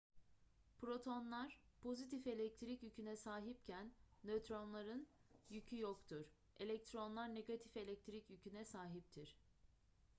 protonlar pozitif elektrik yüküne sahipken nötronların yükü yoktur elektronlar negatif elektrik yüküne sahiptir